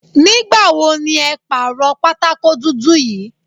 Nígbà wo ni ẹ pàrọ̀ pátákó dúdú yí?